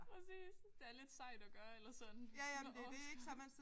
Præcis. Det er lidt sejt at gøre eller sådan så har man overskud